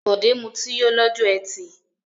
Bọ̀dé mutí yó lọ́jọ́ ẹtì.